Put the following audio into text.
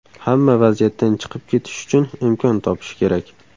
Hamma vaziyatdan chiqib ketish uchun imkon topishi kerak.